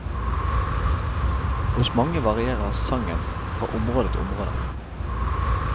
Hos mange varierer sangen fra område til område.